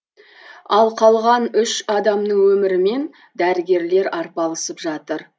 ал қалған үш адамның өмірімен дәрігерлер арпалысып жатыр